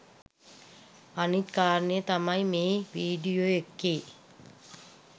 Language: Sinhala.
අනිත් කාරණය තමයි මේ වීඩියෝ එකේ